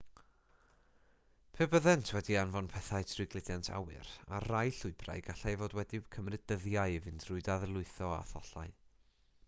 pe byddent wedi anfon pethau trwy gludiant awyr ar rai llwybrau gallai fod wedi cymryd dyddiau i fynd trwy ddadlwytho a thollau